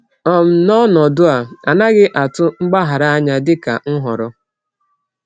um N’ọnọdụ a, a naghị atụ mgbaghara anya dịka nhọrọ.